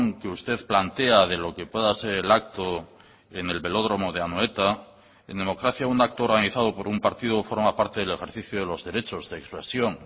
que usted plantea de lo que pueda ser el acto en el velódromo de anoeta en democracia un acto organizado por un partido forma parte del ejercicio de los derechos de expresión